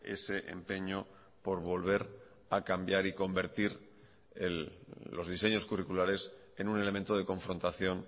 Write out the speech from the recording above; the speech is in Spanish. ese empeño por volver a cambiar y convertir los diseños curriculares en un elemento de confrontación